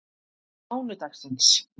mánudagsins